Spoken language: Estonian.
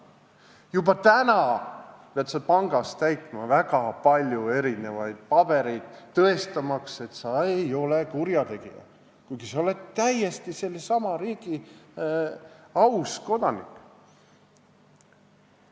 Juba täna pead sa pangas täitma väga palju pabereid, tõestamaks, et sa ei ole kurjategija, kuigi sa oled sellesama riigi aus kodanik.